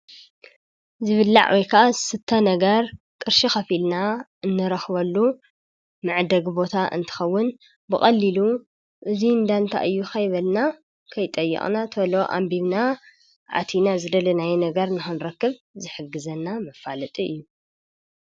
ዝብላዕ ወይ ከዓ ዝስተ ነገር ቅርሺ ኸፊልና እንረክበሉ መዕደጊ ቦታ እንትኸውን ብቀዕሊሉ እዙይ እንዳታ እዩ ከበልና ከይጠየቅነና ቶሎ ኣንቢብና ኣቲና ዝደለናዮ ነገር ንኽንረክብ ዝሕግዘና መፈላጢ እዩ።